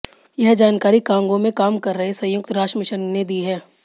यह जानकारी कांगो में काम कर रहे संयुक्त राष्ट्र मिशन ने दी है